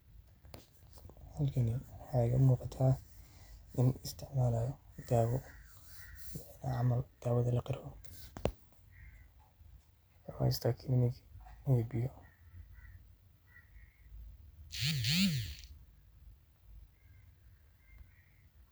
Halkani waxa igamugata nin isticmalayo dawo camal dawo lahelikaro, wuxu haysta kanin iyo biyo.